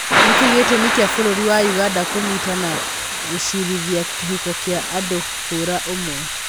Nĩkĩĩ gĩtũmĩ kĩa bũrũri wa ũganda kũnyita na gũcirithia kĩhiko kia andũa hũra ũmwe.